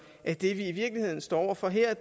at det vi i virkeligheden står over for her